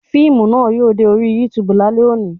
Fíìmù náà yóò dé orí YouTube lálẹ́ òní